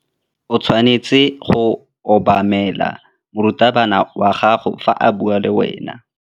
O tshwanetse go obamela morutabana wa gago fa a bua le wena.